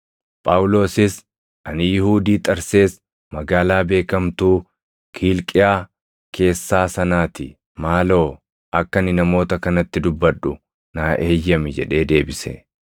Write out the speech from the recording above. Phaawulosis, “Ani Yihuudii Xarsees magaalaa beekamtuu Kiilqiyaa keessaa sanaa ti. Maaloo, akka ani namoota kanatti dubbadhu naa eeyyami” jedhee deebise.